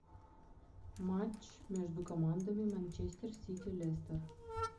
матч между командами манчестер сити лестер